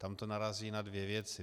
Tam to narazí na dvě věci.